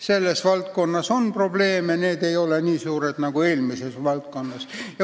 Selles valdkonnas on probleeme, aga need ei ole nii suured nagu esimeses valdkonnas.